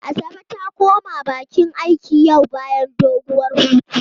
Asabe ta koma bakin aiki yau bayan doguwar hutu.